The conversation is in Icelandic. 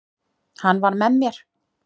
Hann var með mér.